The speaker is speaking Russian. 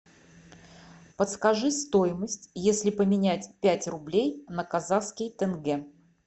подскажи стоимость если поменять пять рублей на казахский тенге